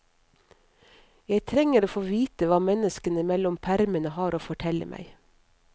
Jeg trenger å få vite hva menneskene mellom permene har å fortelle meg.